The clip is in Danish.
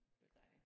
Det er dejligt